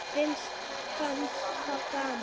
Finnst það gaman.